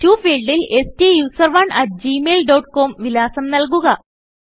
to ഫീൾഡിൽ സ്റ്റൂസറോണ് at Gmail dot com വിലാസം നല്കുക